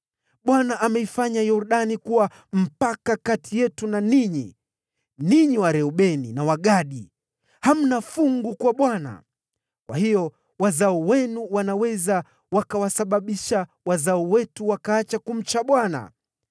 Bwana ameifanya Yordani kuwa mpaka kati yetu na ninyi, ninyi Wareubeni na Wagadi! Hamna fungu kwa Bwana .’ Kwa hiyo wazao wenu wanaweza wakawasababisha wazao wetu wakaacha kumcha Bwana .